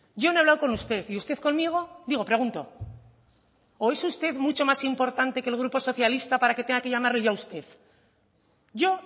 yo no he hablado con usted y usted conmigo digo pregunto o es usted mucho más importante que el grupo socialista para que tenga que llamarle yo a usted yo